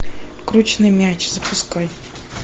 крученый мяч запускай